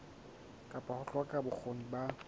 kapa ho hloka bokgoni ba